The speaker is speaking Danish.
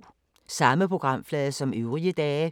Samme programflade som øvrige dage